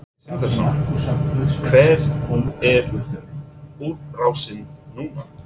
Sindri Sindrason: Hver er útrásin núna?